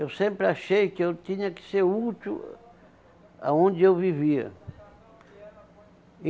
Eu sempre achei que eu tinha que ser útil aonde eu vivia.